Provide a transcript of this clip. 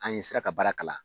An sera ka baara kalan